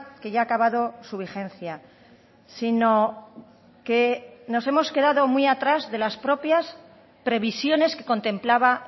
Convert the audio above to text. que ya ha acabado su vigencia sino que nos hemos quedado muy atrás de las propias previsiones que contemplaba